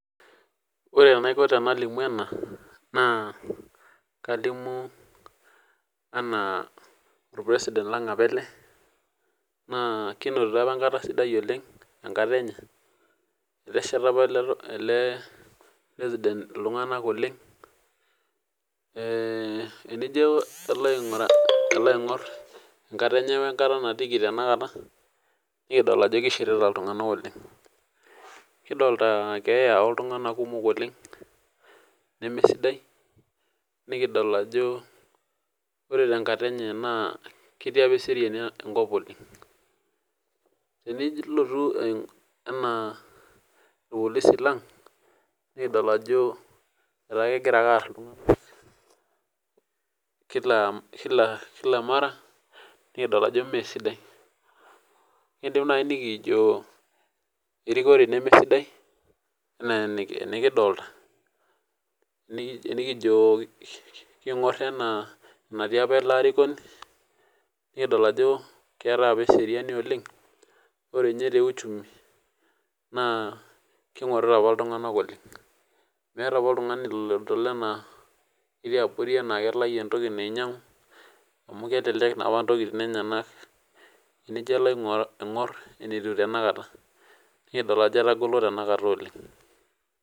Ore enaiko tenalimu ena naa kalimu anaa olpresiden lang' apa ele, naa kinotito apa enkata sidai oleng' enkata enye, etesheta opa ele president iltung'anak oleng' eeh enijo iloaing'uraa iloaing'orr enkata enye oenkata natiiki tenakata nikidol ajo keishirita iltung'anak oleng'. Kidoltaa keeya oltung'anak kumok oleng' nemesidai nikidol ajo ore tenkata enye naa ketii apa eseriani enkop oleng'. Tenilotu eh enaa ilpolisi lang' nikidol ajo etaa kegirake aarr iltung'anak kila, kila mara nikidol ajo meesidai. Kiindim nai nikiijo erikore nemesidai anaa enikidolta nikijoo king'orr enaa enatii apa arikoni nikidol ajo keetai apa eseriani oleng' ore ninye te  uchumi naa keing'orita apa iltung'anak oleng'. Meeta apa oltung'ani lodol enaa ketii abori anaa kelayu entoki nainyang'u amu kelelek naapa ntokitin enyanak teniji ilo aing'orr enatiu tenakata nikidol ajo etagolo tenakata oleng'.